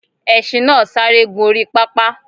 Esin náà sáré gùn orí pápá